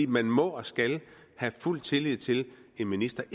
man må og skal have fuld tillid til en minister